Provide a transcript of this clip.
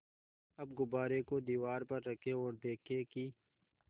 अब गुब्बारे को दीवार पर रखें ओर देखें कि